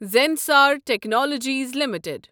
Zensar technologies limited